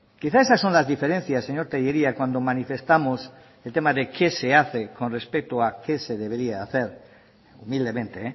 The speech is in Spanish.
quizá esas son las diferencias señor tellería cuando manifestamos el tema de qué se hace con respecto a qué se debería hacer humildemente